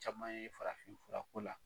Caman ye, farafin fura ko la.